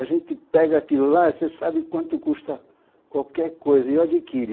A gente pega aquilo lá e você sabe quanto custa qualquer coisa, e eu adquire